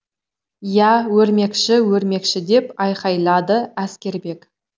иә өрмекші өрмекші деп айқайлады әскербек